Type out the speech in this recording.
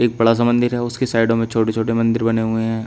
बड़ा सा मंदिर है उसकी साइडों में छोटे छोटे मंदिर बने हुए हैं।